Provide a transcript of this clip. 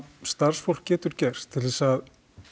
starfsfólk getur gert til þess að